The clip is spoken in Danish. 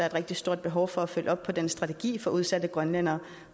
et rigtig stort behov for at følge op på den strategi for udsatte grønlændere